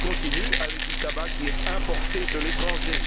Il continue avec du tabac qui est importé de l'étranger.